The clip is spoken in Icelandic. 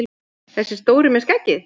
Þessi stóri með skeggið!